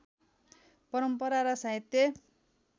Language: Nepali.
परम्परा र साहित्य